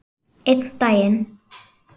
Einn daginn?